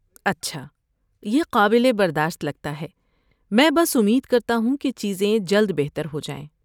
اچھا، یہ قابل برداشت لگتا ہے۔ میں بس امید کرتا ہوں کہ چیزیں جلد بہتر ہو جائیں۔